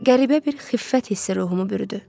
Qəribə bir xiffət hissi ruhumu bürüdü.